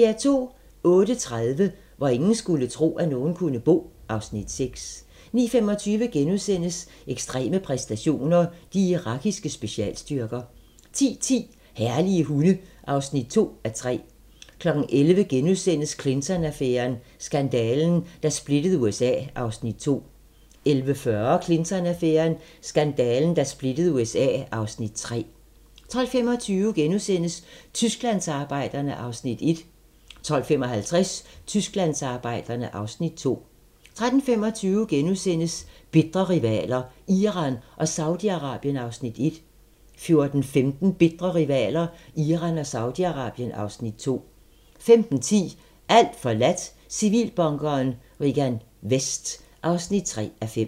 08:30: Hvor ingen skulle tro, at nogen kunne bo (Afs. 6) 09:25: Ekstreme præstationer: De irakiske specialstyrker * 10:10: Herlige hunde (2:3) 11:00: Clinton-affæren: Skandalen, der splittede USA (Afs. 2)* 11:40: Clinton-affæren: Skandalen, der splittede USA (Afs. 3) 12:25: Tysklandsarbejderne (Afs. 1)* 12:55: Tysklandsarbejderne (Afs. 2) 13:25: Bitre rivaler: Iran og Saudi-Arabien (Afs. 1)* 14:15: Bitre rivaler: Iran og Saudi-Arabien (Afs. 2) 15:10: Alt forladt - Civilbunkeren Regan Vest (3:5)